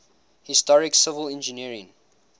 historic civil engineering